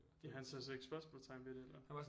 Han satte slet ikke spørgsmålstegn ved det eller